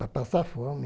Para passar fome.